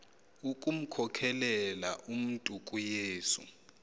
ukumkhokelela umntu kuyesu